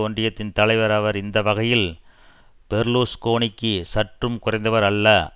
ஒன்றியத்தின் தலைவர் அவர் இந்த வகையில் பெர்லூஸ்கோனிக்கு சற்றும் குறைந்தவர் அல்ல